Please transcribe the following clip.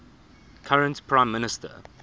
current prime minister